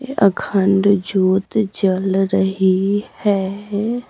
अखंड जोत जल रही है।